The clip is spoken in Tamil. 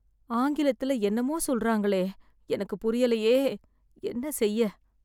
ஆங்கிலத்துல என்னமோ சொல்றாங்களே, எனக்கு புரியலையே, என்ன செய்ய.